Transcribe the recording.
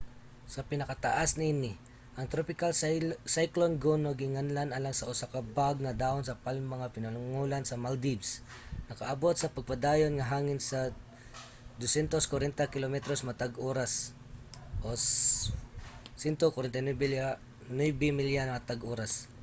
sa pinakataas niini ang tropical cyclone gonu ginganlan alang sa usa ka bag nga dahon sa palma sa pinulongan sa maldives nakaabot sa padayon nga hangin sa 240 kilometros matag oras 149 milya matag oras